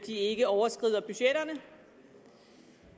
ikke overskrider budgetterne